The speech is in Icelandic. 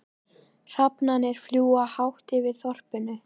Hrafnarnir fljúga hátt yfir þorpinu.